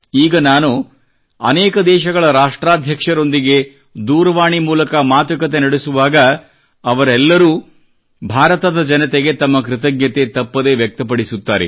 ಈಗ ನಾನು ಅನೇಕ ದೇಶಗಳ ರಾಷ್ಟಾಧ್ಯಕ್ಷರೊಂದಿಗೆ ದೂರವಾಣಿ ಮೂಲಕ ಮಾತುಕತೆ ನಡೆಸುವಾಗ ಅವರೆಲ್ಲರೂ ಭಾರತದ ಜನತೆಗೆ ತಮ್ಮ ಕೃತಜ್ಞತೆ ತಪ್ಪದೇ ವ್ಯಕ್ತಪಡಿಸುತ್ತಾರೆ